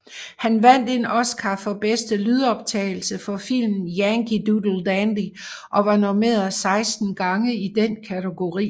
Han vandt en Oscar for bedste lydoptagelse for filmen Yankee Doodle Dandy og var nomineret 16 gange i den kategori